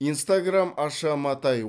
инстаграм аша матай